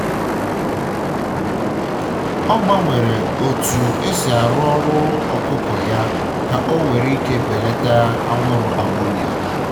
ọ gbanwere otu osi arụ ụlọ ọkụkọ ya ka o nwere ike ibelata anwụrụ ammonia